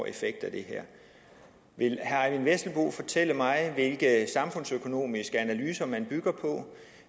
effekt af det her vil herre eyvind vesselbo fortælle mig hvilke samfundsøkonomiske analyser man bygger på